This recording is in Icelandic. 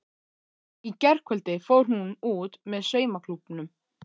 Í gærkvöldi fór hún út með saumaklúbbnum.